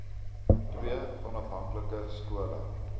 ii onafhanklike skole